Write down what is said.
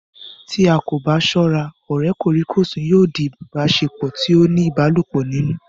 Tí a kò bá sọ́ra, ọ̀rẹ́ kòríkòsùn yóò di ìbáṣepọ̀ tí ó ní ìbálòpọ̀ nínú